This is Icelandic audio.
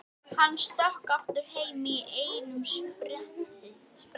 Hann stökk aftur heim í einum spretti.